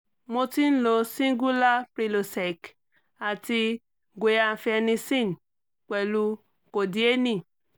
mo ti ń lo singular prilosec àti guiafenissen pẹ̀lú codeine